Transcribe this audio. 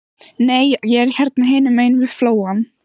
Nei, ég er hérna hinum megin við flóann.